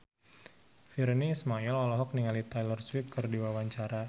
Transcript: Virnie Ismail olohok ningali Taylor Swift keur diwawancara